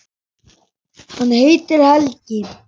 Hann heitir Helgi.